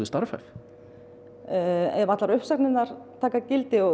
starfhæf ef allar uppsagnirnar taka gildi